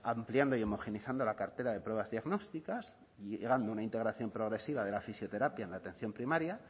ampliando y homogeneizando la cartera de pruebas diagnósticas liderando una integración progresiva de la fisioterapia en atención primaria